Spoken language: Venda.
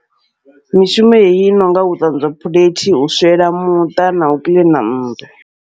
Mishumo heneyi i nonga u ṱanzwa phulethi, u swiela muṱa, nau kiḽina nnḓu.